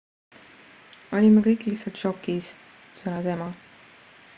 """olime kõik lihtsalt šokis," sõnas ema.